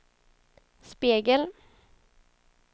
spegel